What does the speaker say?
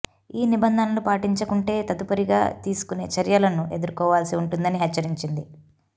ఈ నిబంధనలు పాటించకుంటే తదుపరిగా తీసుకునే చర్యలను ఎదుర్కోవాల్సి ఉంటుందని హెచ్చరించింది